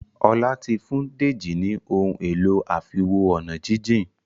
Ola tí fún Deji ní Ohun èlò àfiwo-ọ̀nàjíjìn.